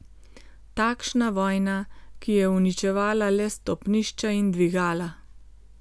Takšna vojna, ki je uničevala le stopnišča in dvigala.